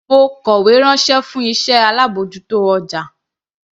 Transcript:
Mo kọ̀wé ránṣẹ́ fún iṣẹ́ alábòjútó ọjà.